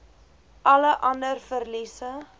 alle ander verliese